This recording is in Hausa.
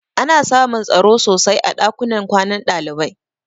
Ana samun tsaro sosai a ɗakunan kwanan ɗalibai.